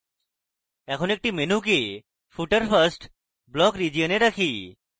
এখন একটি menu কে footer first block region এ রাখি